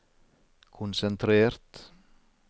konsentrert